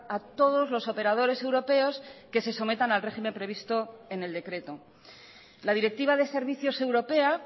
a todos los operadores europeos que se sometan al régimen previsto en el decreto la directiva de servicios europea